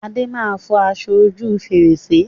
Adé máa fọ aṣọ ojú fèrèsé